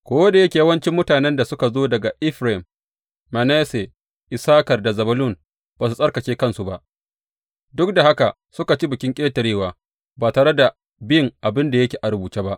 Ko da yake yawancin mutanen da suka zo daga Efraim, Manasse, Issakar da Zebulun ba su tsarkake kansu ba, duk da haka suka ci Bikin Ƙetarewa, ba tare da bin abin da yake a rubuce ba.